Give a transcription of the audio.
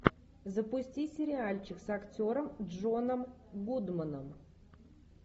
запусти сериальчик с актером джоном гудманом